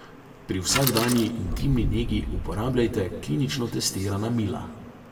Pri vsakdanji intimni negi uporabljajte klinično testirana mila.